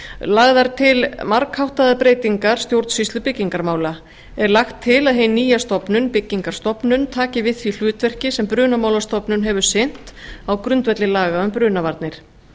lagðar til margháttaðar breytingar stjórnsýslu byggingarmála er lagt til að hin nýja stofnun byggingarstofnun taki við því hlutverki sem brunamálastofnun hefur sinnt á grundvelli laga um brunavarnir